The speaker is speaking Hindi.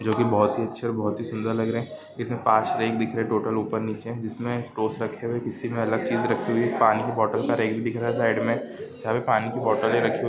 जो की बहुत ही अच्छी बहुत ही सुंदर लग रहे हैं इसमें पांच फ्रेम दिख रहे हैं टोटल ऊपर नीचे जिसमे टोस्ट रखे हुए-- किसी में अलग चीज रखी हुई है पानी की बोटल का रैक दिख रहा है साइड में जहां पर पानी की बोटले रखी--